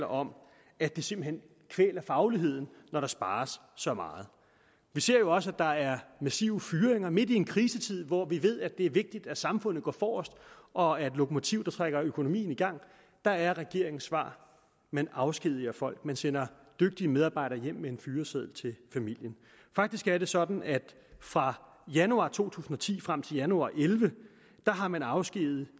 om at det simpelt hen kvæler fagligheden når der spares så meget vi ser jo også at der er massive fyringer midt i en krisetid hvor vi ved er det er vigtigt at samfundet går forrest og er et lokomotiv der trækker økonomien i gang der er regeringens svar man afskediger folk man sender dygtige medarbejdere hjem med en fyreseddel til familien faktisk er det sådan at fra januar to tusind og ti og frem til januar og elleve har man afskediget